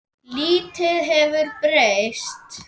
Lítið hefur breyst.